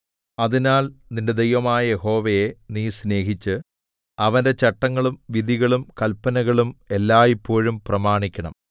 അതിനാൽ നിന്റെ ദൈവമായ യഹോവയെ നീ സ്നേഹിച്ച് അവന്റെ ചട്ടങ്ങളും വിധികളും കല്പനകളും എല്ലായ്പോഴും പ്രമാണിക്കണം